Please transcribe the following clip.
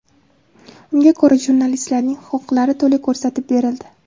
Unga ko‘ra, jurnalistlarning huquqlari to‘la ko‘rsatib berildi.